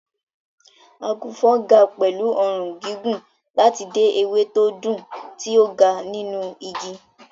Àgùnfọ̀n ga pẹ̀lú ọrùn gígùn láti dé ewé tó dùn tí ó ga nínú igi.